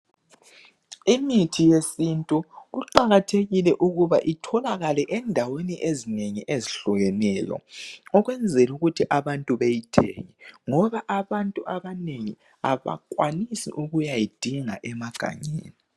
Imithi yesintu iqakathekile ukuba itholakale endaweni ezinengi ezehlukeneyo. Ukwenzela ukuthi abantu beyithenge , ngoba abantu abanengi abakwanisi ukuyayidinga emagangeni.